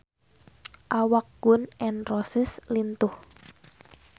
Awak Gun N Roses lintuh